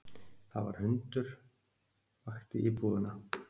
Það var hundur vakti íbúana